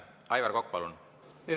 Aivar Kokk, palun!